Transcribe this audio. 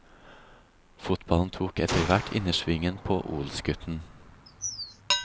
Fotballen tok etterhvert innersvingen på odelsgutten.